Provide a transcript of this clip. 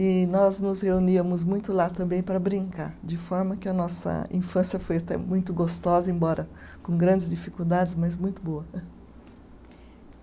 E nós nos reuníamos muito lá também para brincar, de forma que a nossa infância foi até muito gostosa, embora com grandes dificuldades, mas muito boa.